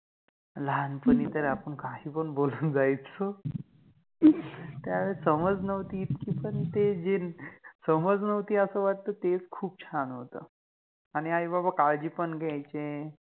लहानपणि तर आपण काहि पण बोलुन जायचो, अम त्यावेळेस समज नवति पन इतकि पण ते जे, समज नवति अस वाटत तेच खुप छान होत, आणि आई बाबा काळजि पण घ्यायचे